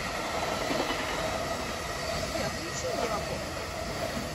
сбер включи ева поп